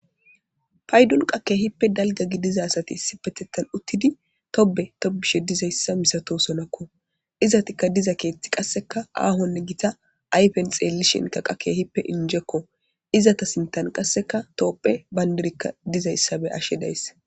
Hayi dulqqa kehippe daliga gidiza asati uttidi Tobe tobishe dizayissa misatiyasa misatossonakko .izetikka diza keththayi kehippe Gita ayifenni xeelishinn injjekko .izeta sinththanni qasekka tophphiya banidirikka dizayissa be'ashshe deyassi.